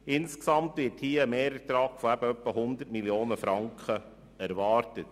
Insgesamt wird hier ein Mehrertrag von etwa 100 Mio. Franken erwartet.